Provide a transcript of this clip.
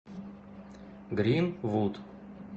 гринвуд